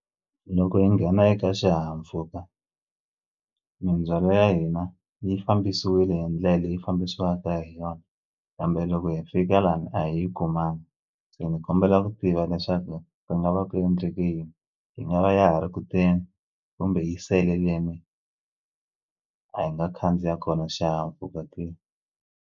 Loko hi nghena eka xihahampfhuka mindzhwalo ya hina yi fambisile hi ndlela leyi fambisiwaka hi yona kambe loko hi fika lani a hi yi kumangi se ni kombela ku tiva leswaku ku nga va ku endleke yini yi nga va ya ha ri kuteni kumbe yi sele leni a hi nga khandziya kona xihahampfhuka ke.